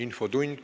Infotund.